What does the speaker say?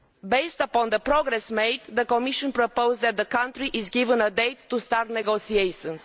Based upon the progress made, the Commission proposed that the country be given a date to start negotiations.